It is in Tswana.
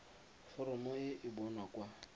foromo e e bonwa kwa